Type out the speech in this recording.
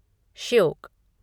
Shyok